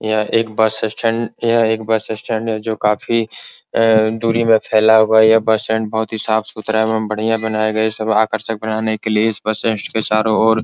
यह एक bus stand यह एक बस स्टैंड है जो काफी अअ दूरी में फैला हुआ है बस स्टैंड बहुत ही साफ-सुथरा है एवं बढ़िया बनाया गया है यह सब आकर्षक बनाने के लिए इस बस के चारो ओर --